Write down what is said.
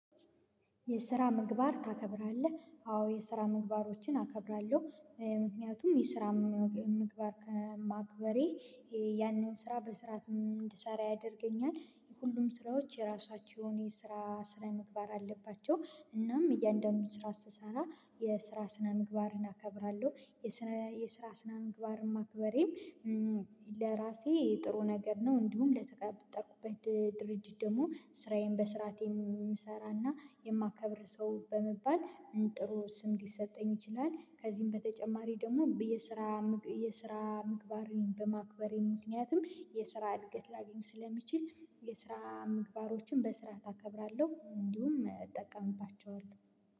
የስራ ምግባር ታከብራለህ? አዎ የስራ ምግባሮችን አከብራለሁ ምክንያቱም የስራ ምግባር ማክበሬ ያኔን ስራ በስርዓት ምን እንድሰራ ያደርገኛል የሁሉም ስራዎች የራሳቸውን የስራ ስነ ምግባር አለባቸው እናም እያንዳንዱን ስራ ስሰራ የስራ ስነ ምግባርን አከብራለሁ የስራ የስራ ስነ ምግባርም ማክበሬም ለራሴ ጥሩ ነገር ነው እንዲሁም ለተጋበጠበት ድርጅት ደግሞ ስራዬን በሥርዓቴ የምሰራና የማከብር ሰው በመባል ጥሩ ስም ሊሰጠኝ ይችላል ከዚህም በተጨማሪ ደግሞ የስራ የስራ ምግባሬን በማክበሬ ምክንያቱም የስራ እድገት ላገኝ ስለምችል የስራ ምግባሮችን በስርዓት አከብራለሁ እንዲሁም እጠቀምባቸዋለሁ